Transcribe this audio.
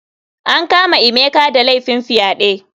An kama emeka da laifin fyaɗe.